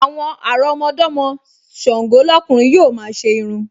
Àwọn àrọ́mọdọ́mọ Ṣàngọ́ lọ́kùnrin yóò máa ṣe irun